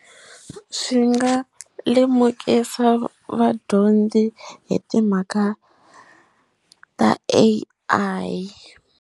Swi nga lemukisa vadyondzi hi timhaka ta A_I.